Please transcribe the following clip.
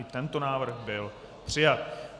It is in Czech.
I tento návrh byl přijat.